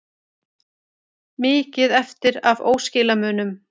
Mikið eftir af óskilamunum